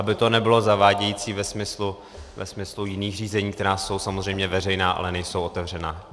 Aby to nebylo zavádějící ve smyslu jiných řízení, která jsou samozřejmě veřejná, ale nejsou otevřená.